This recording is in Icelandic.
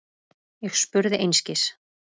Ég spurði einskis.